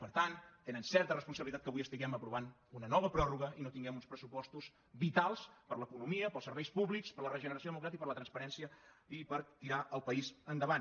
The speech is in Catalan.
per tant tenen certa responsabilitat que avui estiguem aprovant una nova pròrroga i no tinguem uns pressupostos vitals per a l’economia per als serveis públics per a la regeneració democràtica per a la transparència i per tirar el país endavant